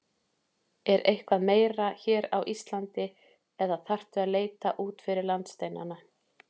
Er eitthvað meira hér á Íslandi eða þarftu að leita út fyrir landsteinana?